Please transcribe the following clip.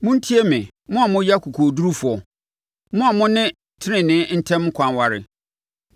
Montie me, mo a moyɛ akokoɔdurufoɔ, mo a mo ne tenenee ntam ɛkwan ware;